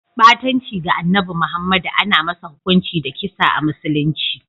Ɓatanci ga Annabi Muhammadu ana masa hukunci da kisa a musulunci.